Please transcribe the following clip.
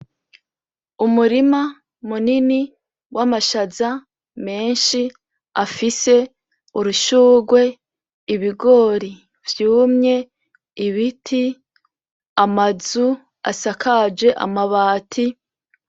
Umurima munini wamashaza menshi afise urushurwe, ibigori vyumye ibiti, amazu asakaje amabati.